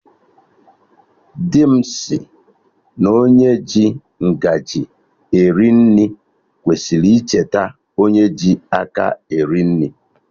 Dị m sịrị na onye ji ngaji eri nri kwesịrị icheta onye ji aka eri nri